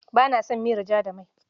Ba na son miyar ja da mai.